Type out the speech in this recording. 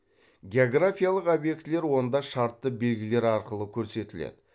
географиялық обьектілер онда шартты белгілер арқылы көрсетіледі